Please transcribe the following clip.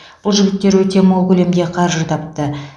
бұл жігіттер өте мол көлемде қаржы тапты